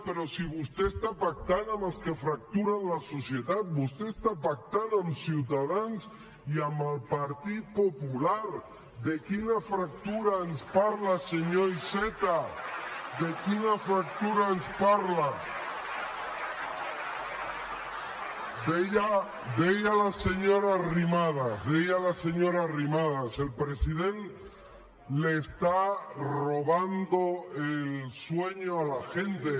però si vostè està pactant amb els que fracturen la societat vostè està pactant amb ciutadans i amb el partit popular de quina fractura ens parla senyor iceta de quina fractura ens parla deia la senyora arrimadas el president le está robando el sueño a la gente